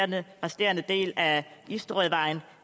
den resterende del af isterødvejen